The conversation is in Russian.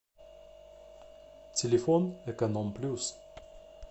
телефон эконом плюс